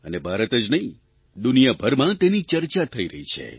અને ભારત જ નહીં દુનિયાભરમાં તેની ચર્ચા થઇ રહી છે